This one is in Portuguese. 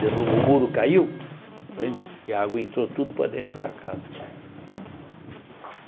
Derrubou, o muro caiu, Não E a água entrou tudo para dentro da casa.